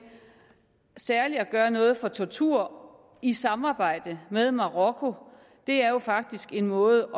særlig at gøre noget for tortur i samarbejde med marokko og det er jo faktisk en måde